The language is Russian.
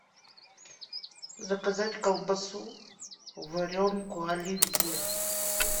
заказать колбасу варенку оливье